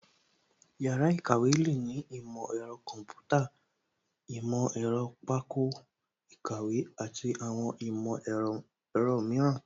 Yàrá ìkàwé lè ní ìmọ̀ ẹ̀rọ kọ̀ḿpútà, ìmọ̀ ẹ̀rọ pákó ìkàwé àti àwọn ìmọ̀ ẹ̀rọ mìíràn